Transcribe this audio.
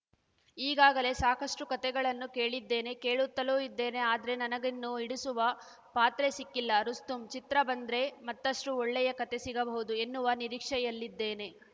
ಈಗಾಗಲೇ ಸಾಕಷ್ಟುಕತೆಗಳನ್ನು ಕೇಳಿದ್ದೇನೆ ಕೇಳುತ್ತಲೂ ಇದ್ದೇನೆ ಆದ್ರೆ ನನಗಿನ್ನು ಹಿಡಿಸುವ ಪಾತ್ರ ಸಿಕ್ಕಿಲ್ಲ ರುಸ್ತುಂ ಚಿತ್ರ ಬಂದ್ರೆ ಮತ್ತಷ್ಟುಒಳ್ಳೆಯ ಕತೆ ಸಿಗಬಹುದು ಎನ್ನುವ ನಿರೀಕ್ಷೆಯಲ್ಲಿದ್ದೇನೆ